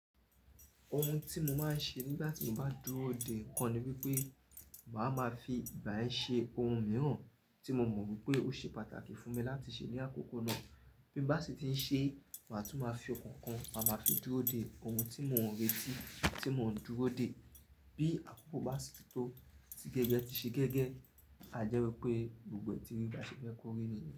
Ohun tí mo máa ń ṣe nígbà tí mo bá dúró dè nǹkan ni wípé màá ma fi ìgbá ẹ ṣe ohun mìíràn tí mo mọ̀ wípé ó ṣe pàtàkì fún mi láti ṣe ní àkókò náà. Bí n bá sì ti ń ṣe, màá tún máa fi ọkàn kan màá ma fi dúró dè ohun tí mò ń retí, tí mò ń dúró dè. Bí àkókò bá sì tó tí gẹ́gẹ́ ti ṣe gẹ́gẹ́, a jẹ́ wípé gbogbo ẹ́ ti rí ba ṣé fẹ́ kórí ni.